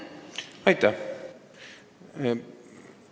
Aitäh!